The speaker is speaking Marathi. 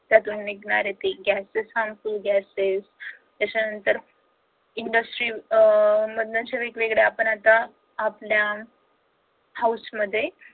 त्यांच्यामधून निघणारे gasses ते harmful gases त्याच्या नंतर industries अं मधून जे वेगवेगळ्या आपण जे आता आपल्या house मध्ये